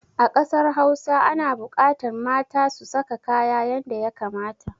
A ƙasar hausa ana buƙatan mata su saka kaya yanda ya kamata.